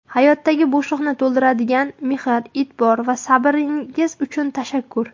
Hayotdagi bo‘shliqni to‘ldiradigan mehr, e’tibor va sabringiz uchun tashakkur.